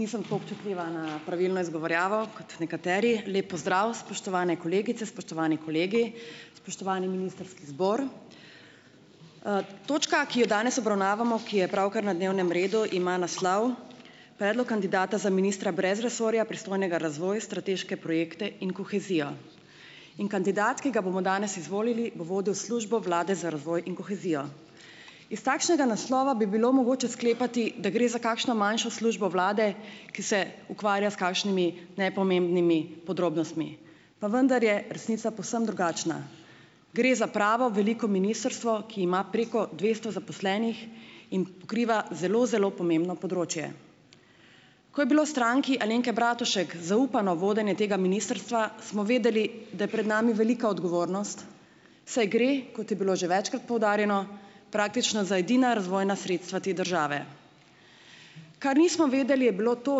Nisem tako občutljiva na pravilno izgovorjavo kot nekateri. Lep pozdrav, spoštovane kolegice, spoštovani kolegi! Spoštovani ministrski zbor! Točka, ki je danes obravnavamo, ki je pravkar na dnevnem redu, ima naslov Predlog kandidata za ministra brez resorja, pristojnega razvoja, strateške projekte in kohezijo. In kandidat, ki ga bomo danes izvolili, bo vodil Službo vlade za razvoj in kohezijo. Iz takšnega naslova bi bilo mogoče sklepati, da gre za kakšno manjšo službo vlade, ki se ukvarja s kakšnimi nepomembnimi podrobnostmi, pa vendar je resnica povsem drugačna. Gre za pravo, veliko ministrstvo, ki ima preko dvesto zaposlenih in pokriva zelo, zelo pomembno področje. Ko je bilo Stranki Alenke Bratušek zaupano vodenje tega ministrstva, smo vedeli, da je pred nami velika odgovornost, saj gre, kot je bilo že večkrat poudarjeno, praktično za edina razvojna sredstva te države. Kar nismo vedeli, je bilo to,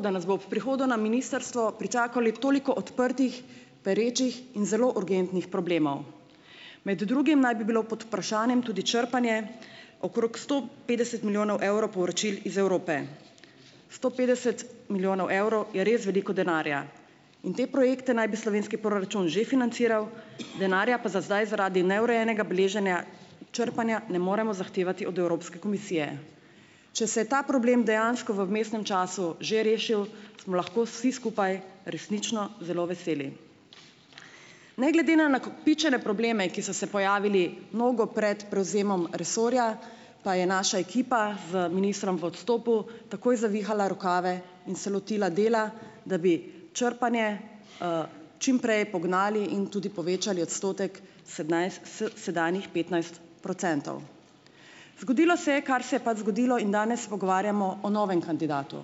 da nas bo ob prihodu na ministrstvo pričakalo toliko odprtih, perečih in zelo urgentnih problemov. Med drugim naj bi bilo pod vprašanjem tudi črpanje okrog sto petdeset milijonov evro povračil iz Evrope. Sto petdeset milijonov evrov je res veliko denarja in te projekte naj bi slovenski proračun že financiral, denarja pa za zdaj, zaradi neurejenega beleženja črpanja ne moremo zahtevati od Evropske komisije. Če se je ta problem dejansko v vmesnem času že rešilo, smo lahko vsi skupaj resnično zelo veseli. Ne glede na nakopičene probleme, ki so se pojavili mnogo pred prevzemom resorja, pa je naša ekipa z ministrom v odstopu takoj zavihala rokave in se lotila dela, da bi črpanje, čim prej pognali in tudi povečali odstotek s sedanjih petnajst procentov. Zgodilo se je, kar se je pač zgodilo, in danes se pogovarjamo o novem kandidatu.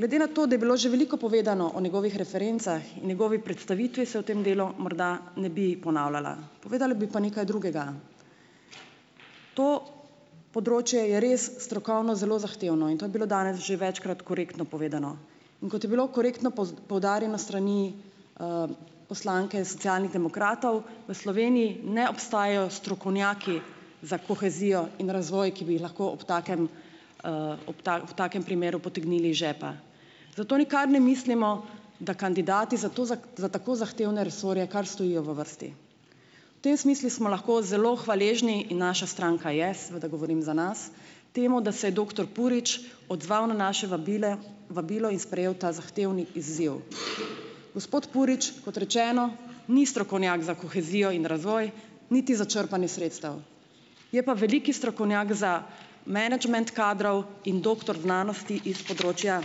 Glede na to, da je bilo že veliko povedano o njegovih referencah in njegovi predstavitvi, se o tem delu morda ne bi ponavljala, povedala bi pa nekaj drugega. To področje je res strokovno zelo zahtevno in to je bilo danes že večkrat korektno povedano, in kot je bilo v korektno poudarjeno s strani, poslanke Socialnih demokratov, v Sloveniji ne obstajajo strokovnjaki za kohezijo in razvoj, ki bi jih lahko ob takem, ob ob takem primeru potegnili iz žepa. Zato nikar ne mislimo, da kandidati za to za tako zahtevne resorje kar stojijo v vrsti. V tem smislu smo lahko zelo hvaležni in naša stranka je, seveda govorim za nas, temu, da se je doktor Purič odzval na naše vabile vabilo in sprejel ta zahtevni izziv. Gospod Purič, kot rečeno, ni strokovnjak za kohezijo in razvoj, niti za črpanje sredstev, je pa velik strokovnjak za menedžment kadrov in doktor znanosti iz področja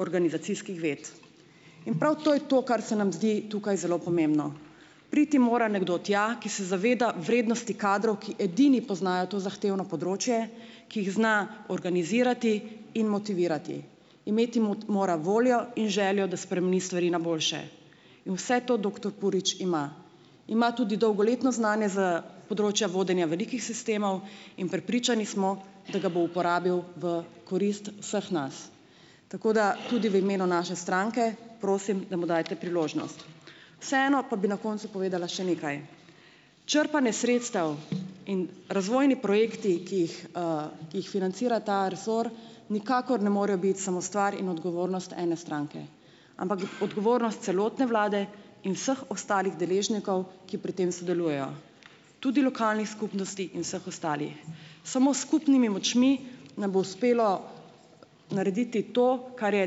organizacijskih ved, in prav to je to, kar se nam zdi tukaj zelo pomembno. Priti mora nekdo tja, ki se zaveda vrednosti kadrov, ki edini poznajo to zahtevno področje, ki jih zna organizirati in motivirati. Imeti mora voljo in željo, da spremeni stvari na boljše, in vse to doktor Purič ima. Ima tudi dolgoletno znanje s področja vodenja velikih sistemov, in prepričani smo, da ga bo uporabil v korist vseh nas. Tako, da tudi v imenu naše stranke prosim, da mu dajte priložnost. Vseeno pa bi na koncu povedala še nekaj. Črpanje sredstev in razvojni projekti, ki jih, ki jih financira ta resor, nikakor ne morejo biti samo stvar in odgovornost ene stranke, ampak odgovornost celotne vlade in vseh ostalih deležnikov, ki pri tem sodelujejo, tudi lokalnih skupnosti in vseh ostalih. Samo s skupnimi močmi nam bo uspelo narediti to, kar je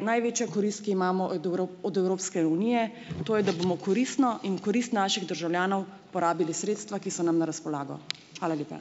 največja korist, ki imamo od od Evropske unije, to je, da bomo koristno in v korist naših državljanov porabili sredstva, ki so nam na razpolago. Hvala lepa.